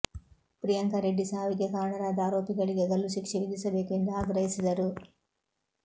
ಪ್ರಿಯಾಂಕಾ ರೆಡ್ಡಿ ಸಾವಿಗೆ ಕಾರಣರಾದ ಆರೋಪಿಗಳಿಗೆ ಗಲ್ಲು ಶಿಕ್ಷೆ ವಿಧಿಸಬೇಕು ಎಂದು ಆಗ್ರಹಿಸಿದರು